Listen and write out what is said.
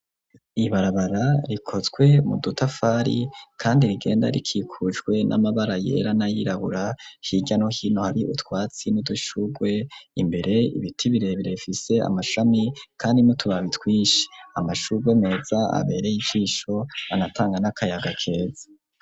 Ibarabara rikozwe mu dutafari kandi rigenda rikikujwe n'amabara yera nayirabura hirya no hino hari utwatsi n'udushugwe imbere ibiti birebire bifise amashami kandi n'utubabi twishi, amashurwe meza abereye ijisho anatanga n'akayaga keza.